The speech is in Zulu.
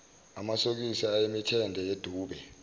amasokisi ayemithende yedube